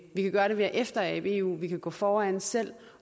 vi kan gøre det ved at efterabe eu vi kan gå foran selv